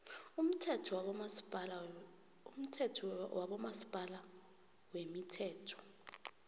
umthetho wabomasipala wemithelo